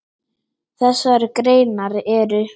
Þessar greinar eru